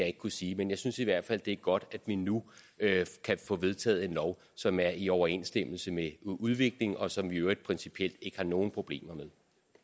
ikke kunne sige men jeg synes i hvert fald at det er godt at vi nu kan få vedtaget en lov som er i overensstemmelse med udviklingen og som vi i øvrigt principielt ikke har nogen problemer med